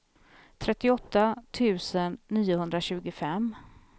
trettioåtta tusen niohundratjugofem